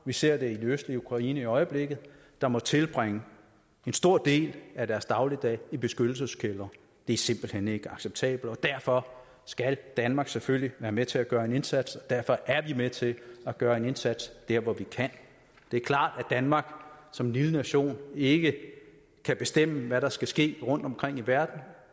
vi ser det i de østlige ukraine i øjeblikket der må tilbringe en stor del af deres dagligdag i beskyttelseskældre det er simpelt hen ikke acceptabelt og derfor skal danmark selvfølgelig være med til at gøre en indsats og derfor er vi med til at gøre en indsats dér hvor vi kan det er klart at danmark som en lille nation ikke kan bestemme hvad der skal ske rundtomkring i verden